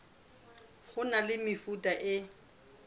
ho na le mefuta e